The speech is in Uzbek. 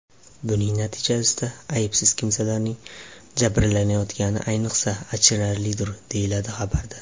Buning natijasida aybsiz kimsalarning jabrlanayotgani, ayniqsa, achinarlidir, deyiladi xabarda.